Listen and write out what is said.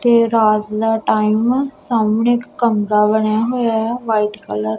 ਤੇ ਰਾਤ ਦਾ ਟਾਈਮ ਸਾਹਮਣੇ ਇੱਕ ਕਮਰਾ ਬਣਿਆ ਹੋਇਆ ਹੈ ਵ੍ਹਾਈਟ ਕਲਰ --